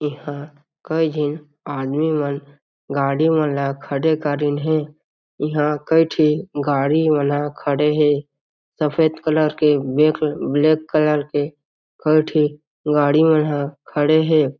ए ह कई झीन आदमी मन गाड़ी मन ला खड़े करीन हे इंहा कई ठिन गाड़ी मन ला खड़े हे सफ़ेद कलर के ब्लै ब्लैक कलर कई ठीन गाड़ी मन ह खड़े हे।